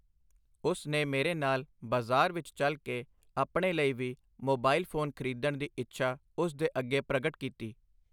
ਉਸ ਨੇ ਮੇਰੇ ਨਾਲ ਬਾਜ਼ਾਰ ਵਿੱਚ ਚੱਲ ਕੇ ਆਪਣੇ ਲਈ ਵੀ ਮੋਬਾਇਲ ਫੋਨ ਖ੍ਰੀਦਣ ਦੀ ਇੱਛਾ ਉਸ ਦੇ ਅੱਗੇ ਪ੍ਰਗਟ ਕੀਤੀ